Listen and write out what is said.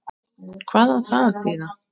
Hristir það.